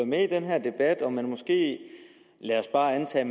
med i den her debat og man måske er lad os bare antage